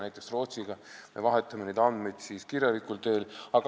Näiteks Rootsiga me vahetame neid andmeid kirjalikul teel.